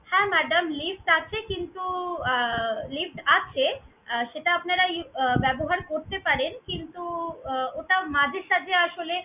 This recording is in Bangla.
হ্যাঁ madam lift আছে কিন্তু আহ lift আছে আর সেটা আপনারা lift আহ ব্যবহার করতে পারেন। কিন্তু আহ ওটা মাঝে সাঝে আসলে